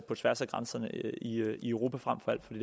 på tværs af grænserne i frem for alt